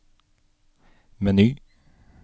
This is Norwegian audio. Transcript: meny